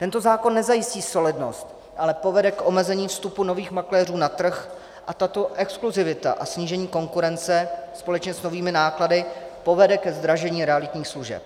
Tento zákon nezajistí solidnost, ale povede k omezení vstupu nových makléřů na trh a tato exkluzivita a snížení konkurence společně s novými náklady povede ke zdražení realitních služeb.